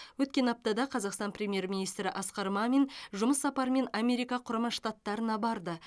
өткен аптада қазақстан премьер министрі асқар мамин жұмыс сапарымен америка құрама штаттарына барды